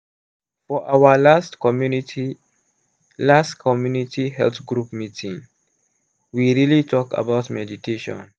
for our last community last community health group meeting we really talk about meditation.